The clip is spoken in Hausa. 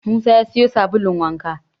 Musa ya siyo sabulun wanka